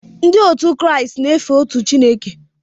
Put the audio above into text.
Ndị Kraịst na-efe otu Chineke